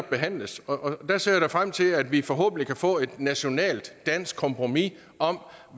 behandles og der ser jeg da frem til at vi forhåbentlig kan få et nationalt dansk kompromis om